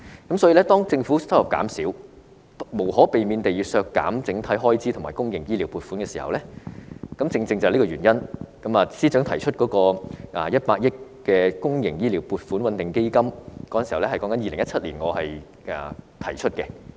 正是由於政府收入減少，無可避免地要削減整體開支和公營醫療撥款，我在2017年便提出成立100億元的公營醫療撥款穩定基金，而司長現在已採納我的建議。